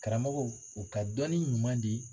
Karamɔgɔw u ka dɔnni ɲuman di.